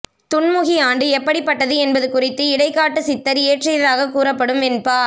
துன்முகி ஆண்டு எப்படிப்பட்டது என்பது குறித்து இடைக்காட்டுச் சித்தர் இயற்றியதாக கூறப்படும் வெண்பா